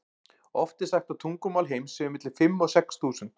oft er sagt að tungumál heims séu milli fimm og sex þúsund